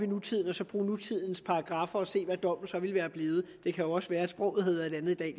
nutiden og så bruge nutidens paragraffer til at se hvad dommen så ville være blevet det kan jo også være at sproget havde været et andet i